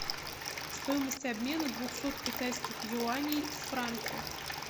стоимость обмена двухсот китайских юаней в франки